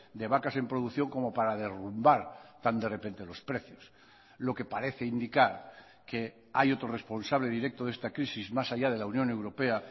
de vacas en producción como para derrumbar tan de repente los precios lo que parece indicar que hay otro responsable directo de esta crisis más allá de la unión europea